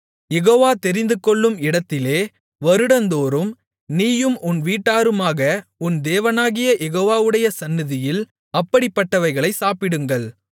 யெகோவா தெரிந்துகொள்ளும் இடத்திலே வருடந்தோறும் நீயும் உன் வீட்டாருமாக உன் தேவனாகிய யெகோவாவுடைய சந்நிதியில் அப்படிப்பட்டவைகளைச் சாப்பிடுங்கள்